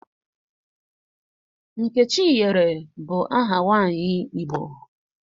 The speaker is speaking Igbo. Nkechinyere bụ aha nwaanyị Igbo